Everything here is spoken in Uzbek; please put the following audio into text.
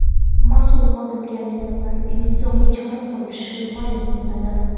masʼul xodimga nisbatan intizomiy chora ko‘rilishini maʼlum qiladi.